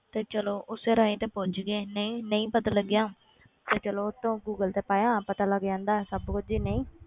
ਤੇ ਚਲੋ ਉਸੇ ਰਾਹੀਂ ਤੇ ਪਹੁੰਚ ਗਏ ਨਹੀਂ ਨਹੀਂ ਪਤਾ ਲੱਗਿਆ ਤੇ ਚੱਲੋ ਉਹ ਤੋਂ ਗੂਗਲ ਤੇ ਪਾਇਆ ਪਤਾ ਲੱਗ ਜਾਂਦਾ ਸਭ ਕੁੱਝ ਹੀ ਨਹੀਂ,